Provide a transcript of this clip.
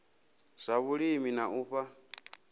zwa vhulimi na u fha